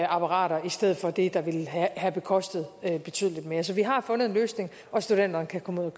apparater i stedet for det der ville have kostet betydelig mere så vi har fundet en løsning og studenterne kan komme